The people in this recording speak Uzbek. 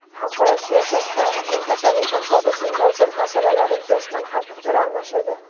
Xalqaro siyosat va mintaqaviy hamkorlikning dolzarb masalalari yuzasidan ham fikr almashildi.